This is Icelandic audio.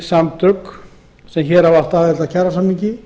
samtökin sem átt hafa aðild að kjarasamningi